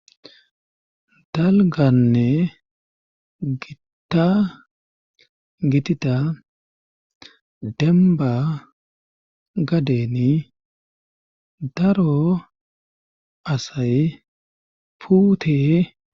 dalganne gita gitida demba gadeni daro asay puute